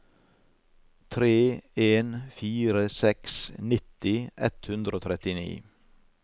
tre en fire seks nitti ett hundre og trettini